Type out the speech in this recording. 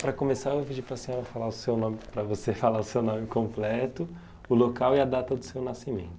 Para começar, eu vou pedir para senhora falar o seu nome para você falar o seu nome completo, o local e a data do seu nascimento.